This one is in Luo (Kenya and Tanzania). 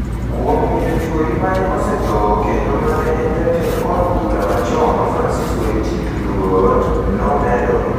kuom miyo chwori ma osetho kendo ma en jatend od bura machon Francis Waititu luor,” nomedo.